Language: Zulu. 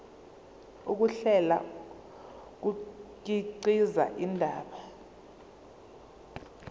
ukuhlela kukhiqiza indaba